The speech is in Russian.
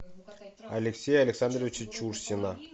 алексея александровича чурсина